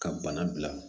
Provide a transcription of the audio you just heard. Ka bana bila